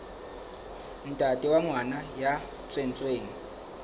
ntate wa ngwana ya tswetsweng